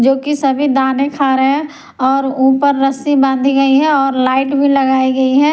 जो कि सभी दाने खा रहे हैं और ऊपर रस्सी बांधी गई है और लाइट भी लगाई गई है।